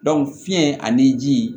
fiɲɛ ani ji